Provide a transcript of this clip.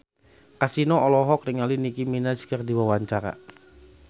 Kasino olohok ningali Nicky Minaj keur diwawancara